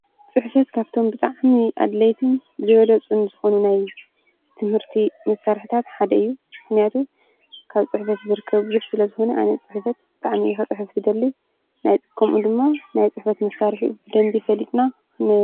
ፅሕፈት ካብቶም ብጣዕሚ አድለይቲን ዝበለፁን ዝኮኑ ናይ ትምህርቲ መሳርሒታት ሓደ እዩ፡፡ ምክንያቱ ካብ ፅሕፈት ዝርከብ ብዙሕ ስለ ዝኮነ አነ ፅሕፈት ብጣዕሚ እየ ክፅሕፍ ዝደሊ ከምኡ ድማ ናይ ፅሕፈት መሳርሒ ብደንቢ ፈሊጥና ን...